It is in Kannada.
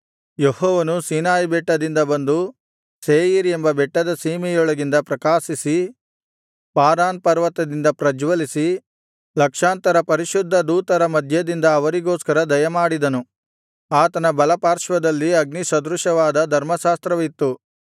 ಯೆಹೋವನು ಸೀನಾಯಿಬೆಟ್ಟದಿಂದ ಬಂದು ಸೇಯೀರ್ ಎಂಬ ಬೆಟ್ಟದ ಸೀಮೆಯೊಳಗಿಂದ ಪ್ರಕಾಶಿಸಿ ಪಾರಾನ್ ಪರ್ವತದಿಂದ ಪ್ರಜ್ವಲಿಸಿ ಲಕ್ಷಾಂತರ ಪರಿಶುದ್ಧದೂತರ ಮಧ್ಯದಿಂದ ಅವರಿಗೋಸ್ಕರ ದಯಮಾಡಿದನು ಆತನ ಬಲಪಾರ್ಶ್ವದಲ್ಲಿ ಅಗ್ನಿಸದೃಶವಾದ ಧರ್ಮಶಾಸ್ತ್ರವಿತ್ತು